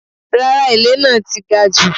Rárá, èlé náà ti gajù.